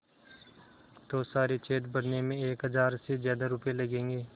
तो सारे छेद भरने में एक हज़ार से ज़्यादा रुपये लगेंगे